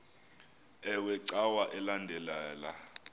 iwe cawa elandela